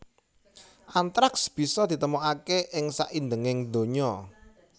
Antraks bisa ditemokaké ing saindhenging donya